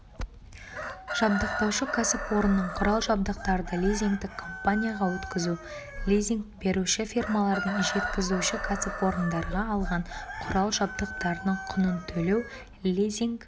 жабдықтаушы кәсіпорынның құрал-жабдықтарды лизингтік компанияға өткізу лизинг беруші фирмалардың жеткізуші кәсіпорындарға алған құрал-жабдықтарының құнын төлеу лизинг